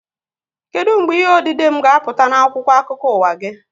Kedụ mgbe ihe odide m ga-apụta n'akwụkwọ akụkọ ụwa gị?